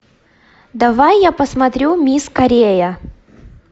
давай я посмотрю мисс корея